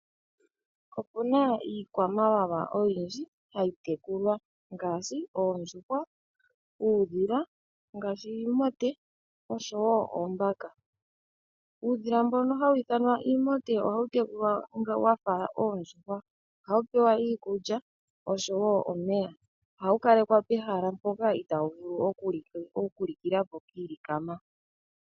Opuna iikwamawawa oyindji hayi tekulwa ngaashi oondjuhwa, uudhila wiimote noshowoo oombaka. Uudhila mbono hawu ithanwa iimote ohawu tekulwa wafa oondjuhwa. Ohawu pewa iikulya oshowoo omeya. Ohawu kalekwa pehala mpoka pwagamenwa kiilikama